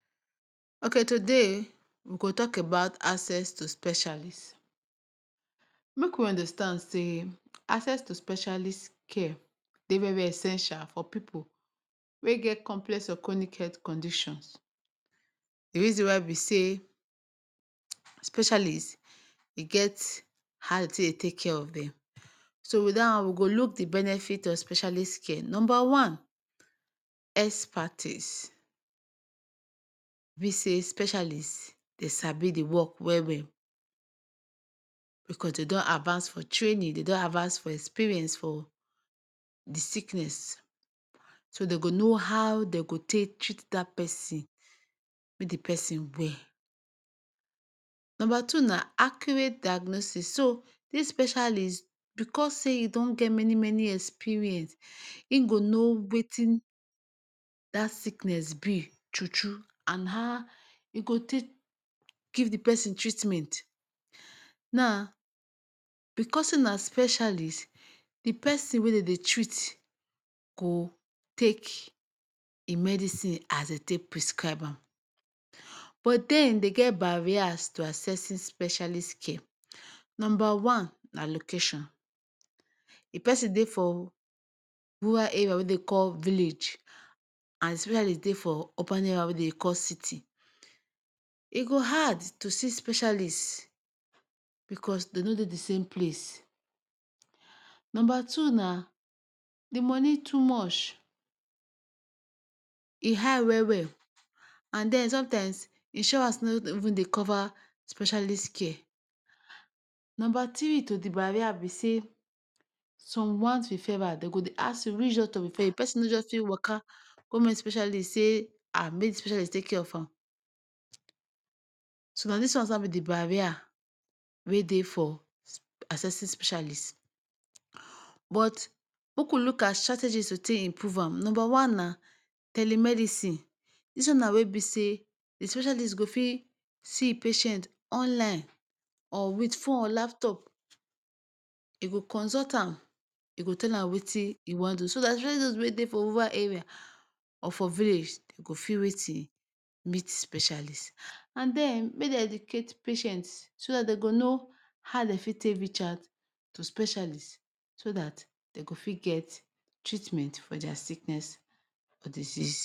Oketoday we go talk abat access to specialist, make we understand say access to specialist care Dey very very essential to pipu wey get complex or chronic health conditions,d reason why be say, specialist e get ha e take Dey take care of dem ,so with da wan we go look the benefit of specialist care, number one, espatis, dem sabi the work well well becau dem Dan advance for training, dem don advance for experience for the sickness so dem go know ha dem go take treat that persin make the persin well, number 2 na accurate diagnosis, so this specialist because say e Don get many many experience in go know Wetin that sickness be thru thru and ha e go take?? Give the person treatment,, naa because say na specialist d persin wey dem Dey treat go take d medisin as dem take prescribe am but dem dem get barrier to accessing specialist care, number one na location, if person Dey for rural area wey dem Dey call village and specialist Dey for urban area wey dem Dey call city e go hard to see specialist?? Because dem no Dey d sane place, number two na d moni too much?,, e high well well an den sometimes insurance no even Dey cover specialist care, number Tiri to the barrier be say? some want referral dem go Dey ask you which doctor refer you, persin no just fit waka go meet specialist say Haa make this specialist take care of am, so na dis wans na be the barrier wey Dey for accessing specialist but make wu look at strategies to take improve an ,number wan na telemedisin, dis wan na wey be say the specialist go fit see in patient online or with phone or laptop e go consult an ?e go tell am Wetin e wan do so that especially those wans wey Dey for over area ,or for village dem go fit Wetin, meet the specialist and then make dem edicate patient so that dem go know Ha dem fit reach out to specialist so that dem go fit get treatment for their sickness tor the season